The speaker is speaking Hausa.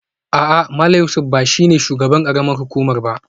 A'a Malam Yusuf ba shi ne shugaban karamar hukuma ba